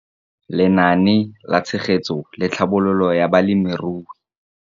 Lenaane la Tshegetso le Tlhabololo ya Balemirui